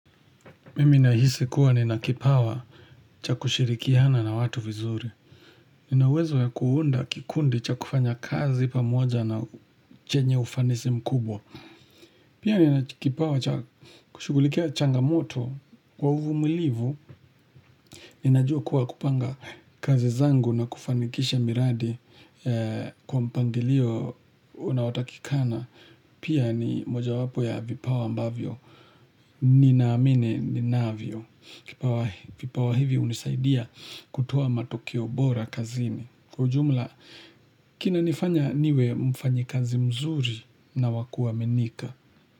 Mimi nahisi kuwa nina kipawa cha kushirikihana na watu vizuri. Ninauwezo ya kuunda kikundi cha kufanya kazi pamoja na chenye ufanisi mkubwa. Pia nina kipawa cha kushugulikia changamoto kwa uvu mulivu. Ninajua kuwa kupanga kazi zangu na kufanikisha miradi kwa mpandilio unaotakikana. Pia ni moja wapo ya vipawa ambavyo. Ninaamine ninaavyo. Vipawa hivi unisaidia kutuoa matokeobora kazini. Kujumla, kina nifanya niwe mfanyi kazi mzuri na wakua menika.